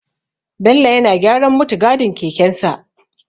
Bello yana gyaran muttigadin kekensa.